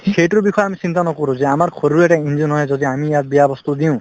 সেইটোৰ বিষয়ে আমি চিন্তা নকৰো যে আমাৰ শৰীৰৰো এটা engine হয় যদি আমি ইয়াত বেয়া বস্তু দিও